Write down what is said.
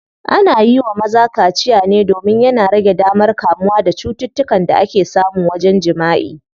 Ana yiwa maza kaciya ne domin yana rage damar kamuwa da cututtukan da ake samu wajen jimaʼi.